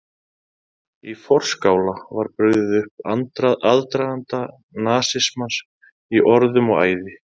Í forskála var brugðið upp aðdraganda nasismans í orðum og æði.